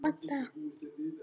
Það sem á fjörur rekur